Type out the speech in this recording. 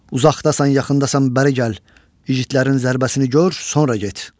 Uzaqdasan, yaxındasan, bəri gəl, igidlərin zərbəsini gör, sonra get.